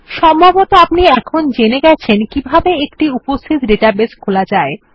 সম্ভবত আপনি এখন জেনে গেছেন কিভাবে একটি উপস্থিত ডেটাবেস খোলা যায়